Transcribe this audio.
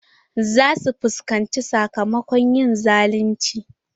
Za su fuskanci sakamakon yin zalunci.